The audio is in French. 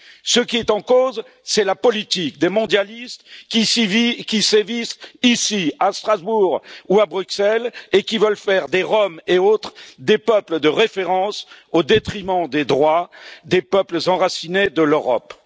Ce qui est en cause, c'est la politique des mondialistes qui sévissent ici à Strasbourg ou à Bruxelles et qui veulent faire des Roms et autres des peuples de référence, au détriment des droits des peuples enracinés de l'Europe.